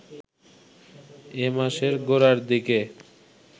এ মাসের গোড়ার দিকে